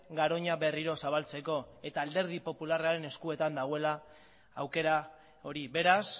garoña berriro zabaltzeko eta alderdi popularraren eskuetan dagoela aukera hori beraz